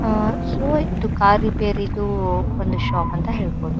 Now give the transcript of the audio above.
ಅಹ್ so ಇದು car ರಿಪೇರಿದು ಒಂದು ಶಾಪ್ ಅಂತ ಹೇಳಬಹುದು.